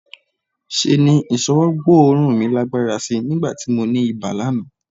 Ṣe ni ìṣọwọ́ gbóòórùn mi lágbára sí í nígbà tí mo ní ibà lánàá